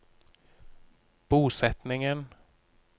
bosetningen